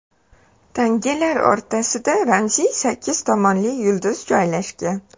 Tangalar o‘rtasida ramziy sakkiz tomonli yulduz joylashgan.